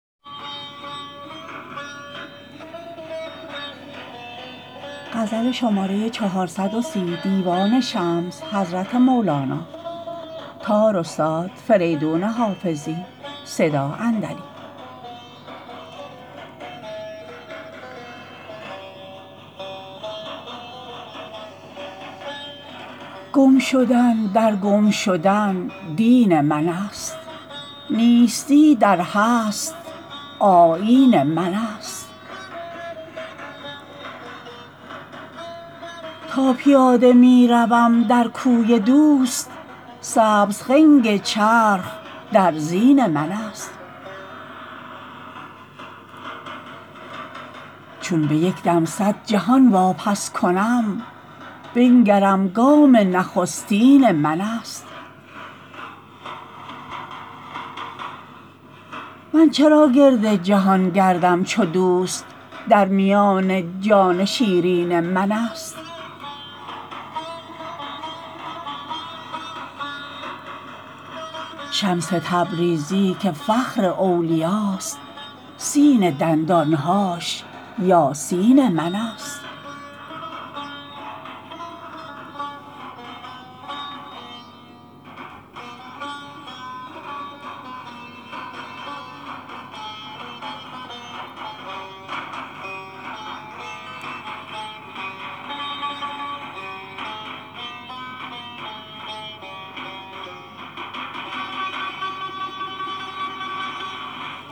گم شدن در گم شدن دین منست نیستی در هست آیین منست تا پیاده می روم در کوی دوست سبز خنگ چرخ در زین منست چون به یک دم صد جهان واپس کنم بنگرم گام نخستین منست من چرا گرد جهان گردم چو دوست در میان جان شیرین منست شمس تبریزی که فخر اولیاست سین دندان هاش یاسین منست